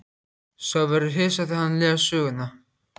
Sá verður hissa þegar hann les söguna.